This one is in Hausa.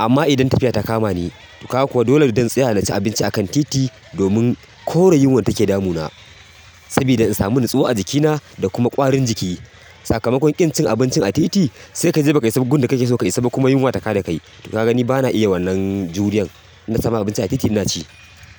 amma idan tafiya ta kama ni, to kaga kuwa dole zan tsaya na ci abinci a kan titi domin kore yunwar data ke damu na. Sabida in samu nutsuwa a jikina da kuma ƙwarin jiki. Sakamakon ƙin cin abincin a titi, sai ka je baka isa gun da kake so ka isaba kuma yunwa ta kada kai. To kagani bana iya wannan juriyar inna samu abinci a titi inaci.